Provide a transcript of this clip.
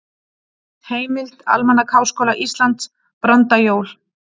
Heimild: Almanak Háskóla Íslands- Brandajól.